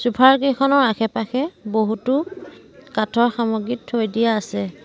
Sofa ৰ কেইখনৰ আছে পাশে বহুতো কাঠৰ সামগ্ৰী থৈ দিয়া আছে।